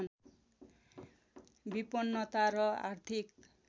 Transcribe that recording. विपन्नता र आर्थिक